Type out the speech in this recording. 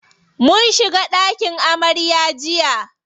Mun shiga ɗakin amarya jiya.